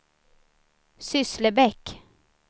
Sysslebäck